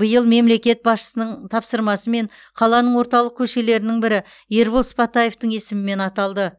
биыл мемлекет басшысының тапсырмасымен қаланың орталық көшелерінің бірі ербол сыпатаевтың есімімен аталды